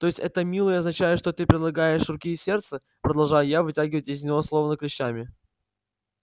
то есть это милый означает что ты предлагаешь руки и сердце продолжаю я вытягивать из него словно клещами